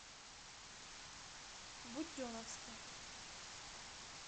буденновске